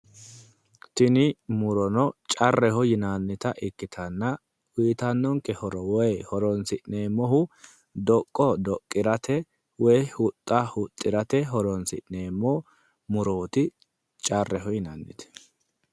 Tini murono carreho yinannita ikkitanna horonsi'nannihuno doqqo doqqirate woyi huxxa huxxirate horonsi'neemmo carreho yinannite